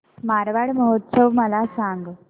मारवाड महोत्सव मला सांग